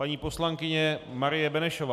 Paní poslankyně Marie Benešová.